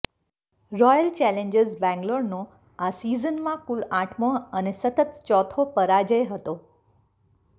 royal challengers બેંગલોરનો આ સિઝનમાં કુલ આઠમો અને સતત ચોથો પરાજય હતો